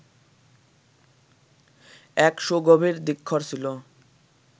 এক সুগভীর ধিক্ষর ছিল।